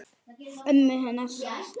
Ömmu hennar.